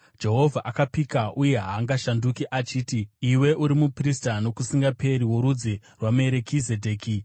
Jehovha akapika, uye haangashanduki, achiti, “Iwe uri muprista nokusingaperi, worudzi rwaMerikizedheki.”